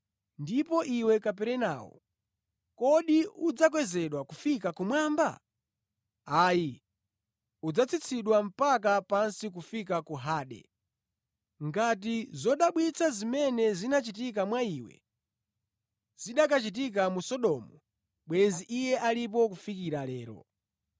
Ndipo iwe Kaperenawo, kodi udzakwezedwa kufika kumwamba? Ayi, udzatsitsidwa mpaka pansi kufika ku Hade. Ngati zodabwitsa zimene zinachitika mwa iwe, zikanachitika mu Sodomu, bwenzi iye alipo kufikira lero.